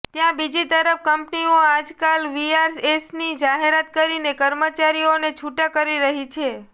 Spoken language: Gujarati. ત્યાં બીજી તરફ કંપનીઓ આજકાલ વીઆરએસની જાહેરાત કરીને કર્મચારીઓને છૂટા કરી રહી છે